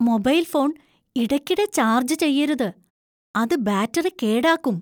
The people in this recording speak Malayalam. മൊബൈൽ ഫോൺ ഇടയ്ക്കിടെ ചാർജ് ചെയ്യരുത്, അത് ബാറ്ററി കേടാക്കും .